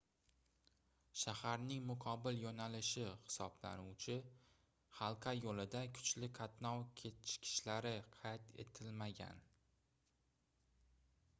shaharning muqobil yoʻnalishi hisoblanuvchi halqa yoʻlida kuchli qatnov kechikishlari qayd etilmagan